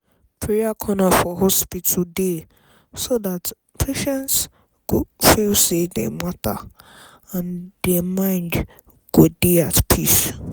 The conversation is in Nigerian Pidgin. prayer corner for hospital dey so dat patients go feel say dem matter and dem mind go dey at peace.